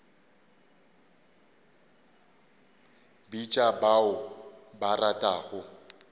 bitša ba o ba ratago